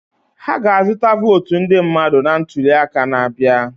Ha ga-azụta votu ndị mmadụ na ntuli aka na-abịa.